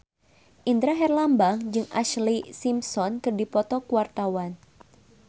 Indra Herlambang jeung Ashlee Simpson keur dipoto ku wartawan